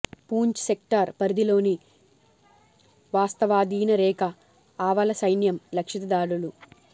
Poonch sector పరిధిలోని వాస్తవాధీన రేఖ ఆవల సైన్యం లక్షిత దాడులు